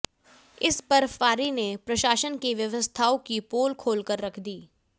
इस बर्फबारी ने प्रशासन की व्यवस्थाओं की पोल खोलकर रख दी